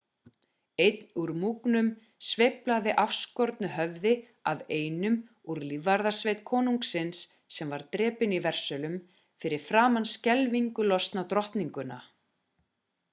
einn úr múgnum sveiflaði afskornu höfði af einum úr lífvarðasveit konungsins sem var drepinn í versölum fyrir framan skelfingu lostna drottninguna